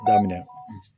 Daminɛ